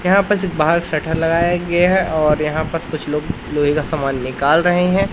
यहां पे से बाहर शटर लगाया गया है और यहां पर कुछ लोग लोहे का सामान निकाल रहे हैं।